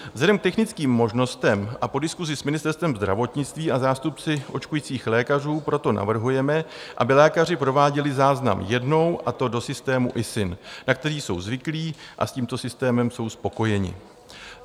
Vzhledem k technickým možnostem a po diskusi s Ministerstvem zdravotnictví a zástupci očkujících lékařů proto navrhujeme, aby lékaři prováděli záznam jednou, a to do systému ISIN, na který jsou zvyklí a s tímto systémem jsou spokojeni.